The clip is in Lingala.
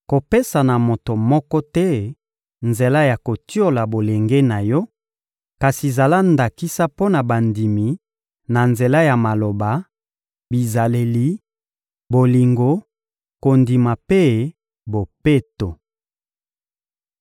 Kopesa na moto moko te nzela ya kotiola bolenge na yo, kasi zala ndakisa mpo na bandimi na nzela ya maloba, bizaleli, bolingo, kondima mpe bopeto.